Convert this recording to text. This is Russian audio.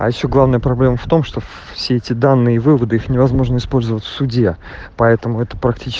а ещё главная проблема в том что все эти данные выводы их невозможно использовать в суде поэтому это практич